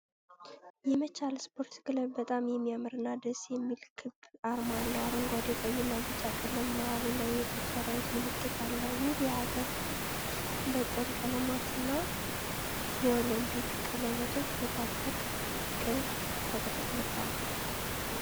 የመቻል ስፖርት ክለብ በጣም የሚያምርና ደስ የሚል ክብ አርማ አለው። አረንጓዴ፣ ቀይና ቢጫ ቀለም መሃሉ ላይ የጦር ሠራዊት ምልክት አለ። ውብ የአገር በቀል ቀለማትና የኦሊምፒክ ቀለበቶች በታላቅ ፍቅር ተጠቅልለዋል።